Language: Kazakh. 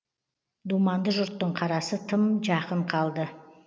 думанды жұрттың қарасы тым жақын қалды